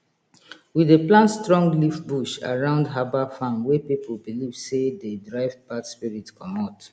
we dey plant strong leaf bush around herbal farm wey people believe say dey drive bad spirit comot